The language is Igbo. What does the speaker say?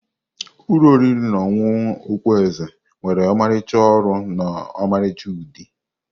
Ụlọ oriri na ọṅụṅụ okpu eze nwere ọmarịcha ọrụ na ọmarịcha udi.